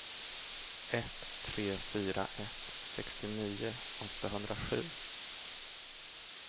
ett tre fyra ett sextionio åttahundrasju